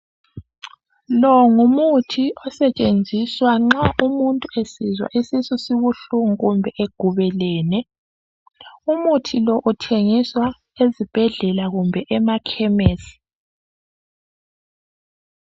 Lo ngumuthi osetshenziswa nxa umuntu esizwa isisu sibuhlungu kumbe egubelene. Umuthi lo uthengiswa ezibhedlela kumbe emakhemesi.